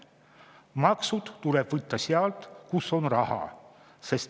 Maksud tuleb võtta sealt, kus on raha.